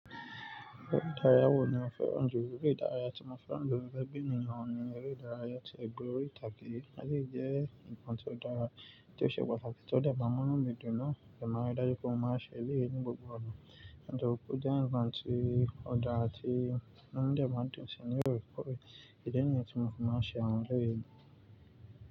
Eré ìdárayá wo ni o fẹ́ràn jùlọ? Eré ìdárayá tí mo fẹ́ràn jùlọ gẹgé bí ènìyàn oun ní eré ìdárayá tí egb'órí ìtage. Elèyi jẹ́ ǹkan tó dára tí ó ṣe pàtàkì tí ó dè m ám únú mi dùn náà. Èmi máa n ri dájú pé mo máa ṣe èleyí ní gbogbo ọ̀nà. Nítorípé o jẹ́ ǹkan tí ó dára tí inú mi dè maan dùn nibámùnù ṣe ní òrùkọ rẹ̀. Ìdí nìyẹn tí mo fi máa ń ṣe àwọn eré mi.